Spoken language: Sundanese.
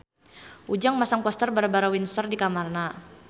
Ujang masang poster Barbara Windsor di kamarna